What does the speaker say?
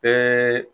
Bɛɛ